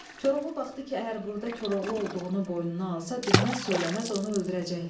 Koroğlu baxdı ki, əgər burda Koroğlu olduğunu boynuna alsa, dinməz-söyləməz onu öldürəcəklər.